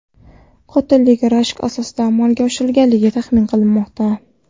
Qotillik rashk asosida amalga oshirilgani taxmin qilinmoqda.